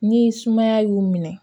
Ni sumaya y'u minɛ